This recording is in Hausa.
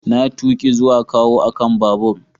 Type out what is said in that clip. Na tuki zuwa kawo akan babur.